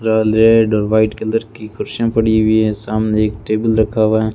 Red और white colour की कुर्सियां पड़ी हुई हैं सामने एक टेबल रखा हुआ है।